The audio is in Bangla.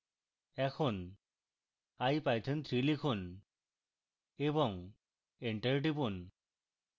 এখন ipython3 লিখুন এবং enter টিপুন